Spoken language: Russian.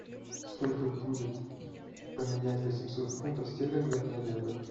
сколько будет поменять восемьсот фунтов стерлингов на евро